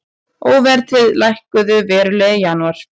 Óverðtryggð lækkuðu verulega í janúar